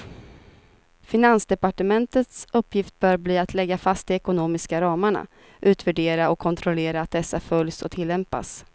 Finansdepartementets uppgift bör bli att lägga fast de ekonomiska ramarna, utvärdera och kontrollera att dessa följs och tillämpas.